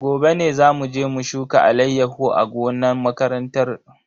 Gobe ne zamu je mu shuka alayyahu a gonan makaranta.